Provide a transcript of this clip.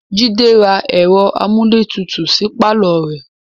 Jide ra ẹ̀rọ amúlétutù sí pàlọ́ rẹ̀